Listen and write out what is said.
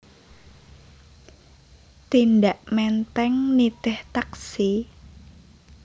Tindak Menteng nitih taksi?